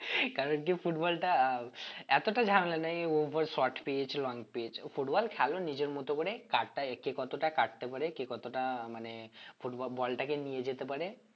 কারণ কি football টা আহ এতটা ঝামেলা নেই over short pitch long pitch football খেলো নিজের মতো করে কারটা একে কতটা কাটতে পারে কে কতটা মানে football ball টাকে নিয়ে যেতে পারে